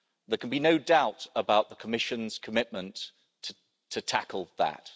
There can be no doubt about the Commission's commitment to tackle that.